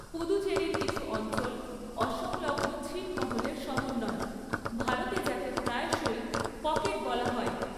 পুদুচেরির কিছু অঞ্চল অসংলগ্ন ছিটমহলের সমন্বয়, ভারতে যাকে প্রায়শই 'পকেট' বলা হয়।